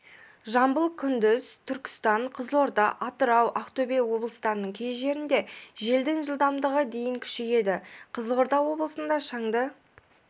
жамбыл күндіз түркістан қызылорда атырау ақтөбе облыстарының кей жерінде желдің жылдамдығы дейін күшейеді қызылорда облысында шаңды